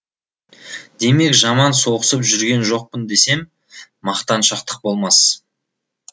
демек жаман соғысып жүрген жоқпын десем мақтаншақтық болмас